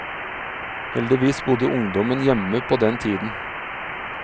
Heldigvis bodde ungdommen hjemme på den tiden.